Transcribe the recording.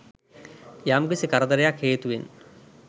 යම්කිසි කරදරයක් හේතුවෙන්